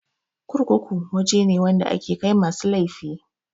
Kurkuku waje ne wanda ake kai masu laifi